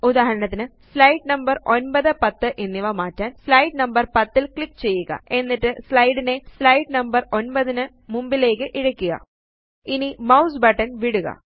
ഉദാഹരണത്തിന് slide number 9 10 എന്നിവ മാറ്റാന് സ്ലൈഡ് നമ്പര് 10 ല് ക്ലിക്ക് ചെയ്യുക ഇനി മൌസ് ബട്ടൺ വിടുക